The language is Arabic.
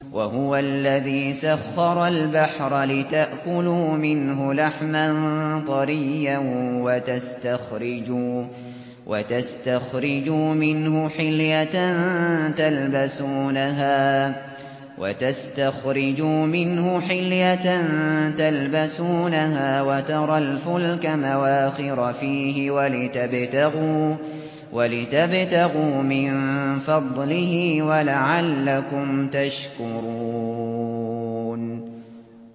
وَهُوَ الَّذِي سَخَّرَ الْبَحْرَ لِتَأْكُلُوا مِنْهُ لَحْمًا طَرِيًّا وَتَسْتَخْرِجُوا مِنْهُ حِلْيَةً تَلْبَسُونَهَا وَتَرَى الْفُلْكَ مَوَاخِرَ فِيهِ وَلِتَبْتَغُوا مِن فَضْلِهِ وَلَعَلَّكُمْ تَشْكُرُونَ